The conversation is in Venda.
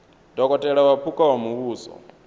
dokotela wa phukha wa muvhuso